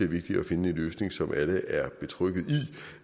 vigtigt at finde en løsning som alle er betrygget i